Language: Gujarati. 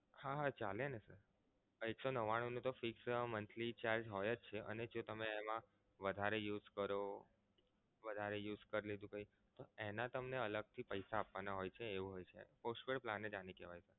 હા હા ચાલે ને sir એક સો નવ્વાણું નો તો fixed monthly charge હોય જ છે અને જો તમે એમા વધારે use કરો વધારે use કરી લીધું કઈ એના તમને અલગ થી પૈસા આપવાના હોય છે એવું હોય છે postpaid plan જ આને કેહવાય